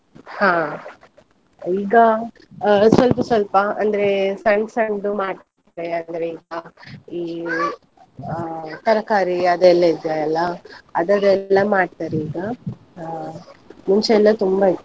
ಹಾ ಈಗ ಆ ಸ್ವಲ್ಪ ಸ್ವಲ್ಪ ಅಂದ್ರೆ ಸಣ್~ ಸಣ್ದು ಮಾಡತೆ ಅಂದ್ರೆ ಈಗ ಈ ಆಹ್ ತರಕಾರಿ ಅದೆಲ್ಲ ಇದಿಯಲ್ಲ ಅದರೆಲ್ಲ ಮಾಡ್ತಾರೆ ಈಗ ಆ ಮುಂಚೆ ಎಲ್ಲ ತುಂಬಾ ಇತ್ತು.